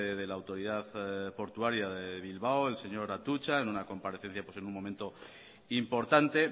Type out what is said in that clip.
de la autoridad portuaria de bilbao el señor atutxa en una comparecencia pues en un momento importante